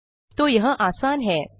तो यह आसान है